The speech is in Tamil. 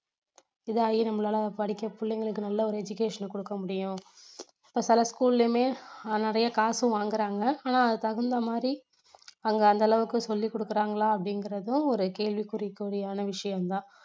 இது ஆயி நம்மளால படிக்க பிள்ளைகளுக்கு நல்ல ஒரு education கொடுக்க முடியும் இப்போ சில school லயுமே ஆஹ் நிறைய காசும் வாங்குறாங்க ஆனா அதுக்கு தகுந்த மாதிரி அவங்க அந்த அளவுக்கு சொல்லிக் கொடுக்கிறாங்களா அப்படிங்குறதும் ஒரு கேள்விகுறி~ குறிக்கான விஷயம் தான்